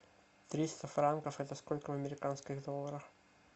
триста франков это сколько в американских долларах